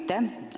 Aitäh!